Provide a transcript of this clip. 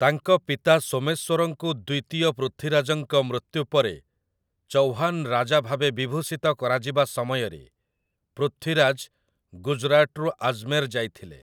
ତାଙ୍କ ପିତା ସୋମେଶ୍ୱରଙ୍କୁ ଦ୍ୱିତୀୟ ପୃଥ୍ୱୀରାଜଙ୍କ ମୃତ୍ୟୁ ପରେ ଚୌହାନ୍‌ ରାଜା ଭାବେ ବିଭୂଷିତ କରାଯିବା ସମୟରେ ପୃଥ୍ୱୀରାଜ ଗୁଜରାଟରୁ ଆଜମେର ଯାଇଥିଲେ ।